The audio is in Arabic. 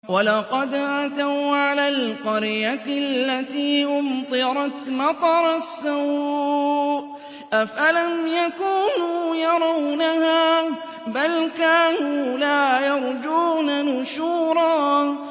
وَلَقَدْ أَتَوْا عَلَى الْقَرْيَةِ الَّتِي أُمْطِرَتْ مَطَرَ السَّوْءِ ۚ أَفَلَمْ يَكُونُوا يَرَوْنَهَا ۚ بَلْ كَانُوا لَا يَرْجُونَ نُشُورًا